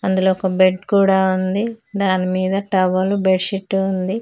అందులో ఒక బెడ్ కూడా ఉంది దాని మీద టవల్ బెడ్ షీట్ ఉంది.